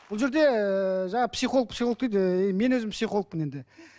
бұл жерде ііі жаңағы психолог психолог дейді ііі мен өзім психологпын енді